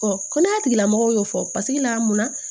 Ɔ kɛnɛya tigilamɔgɔw y'o fɔ paseke la mun na